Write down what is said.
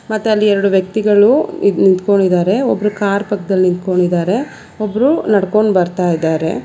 ಮತ್ ಅಲ್ಲಿ ಎರಡು ವ್ಯಕ್ತಿಗಳು ನಿಂತ್ಕೊಂಡಿದ್ದಾರೆ ಒಬ್ರು ಕಾರ್ ಪಕ್ಕದಲ್ಲಿ ನಿಂತ್ಕೊಂಡಿದ್ದಾರೆ ಒಬ್ರು ನಡ್ಕೊಂಡು ಬರ್ತ ಇದರೆ.